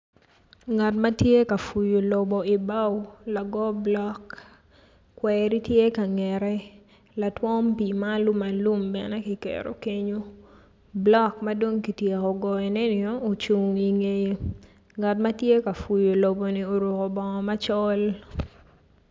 Ngat ma tye ka puyo lobo i bao lago bulok kweri tye ka ngete latwom pii ma alumalum tye kenyu bulok ma dok kityeko goyoneni tye i ngeye ngat ma tye ka puyu loboni oruko bongo macol.